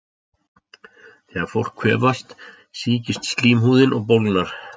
Þegar fólk kvefast sýkist slímhúðin og bólgnar.